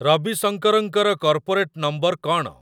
ରବିଶଙ୍କରଙ୍କର corporate number କ'ଣ?